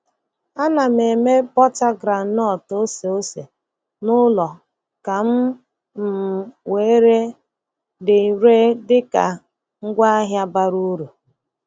Ana m eme bọta groundnut oseose n'ụlọ ka m um wee ree dị ree dị ka ngwaahịa bara uru.